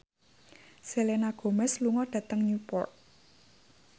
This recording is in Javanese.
Selena Gomez lunga dhateng Newport